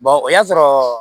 o y'a sɔrɔ